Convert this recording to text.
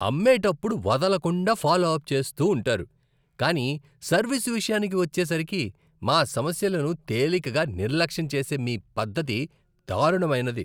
అమ్మేటప్పుడు వదలకుండా follow up చేస్తూ ఉంటారు, కానీ సర్వీస్ విషయానికి వచ్చేసరికి, మా సమస్యలను తేలికగా నిర్లక్ష్యం చేసే మీ పద్ధతి దారుణమైనది.